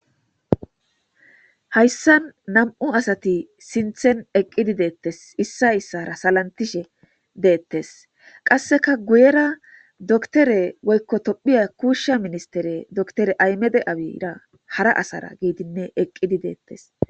Hayssan nam7u asati sinthen eqqidi deettes issa issara salantishe deettes qasseka guyera doktore woykko tophiya kuushsha ministere doktore aymede abira hara asara giidinne eqqidi deettes.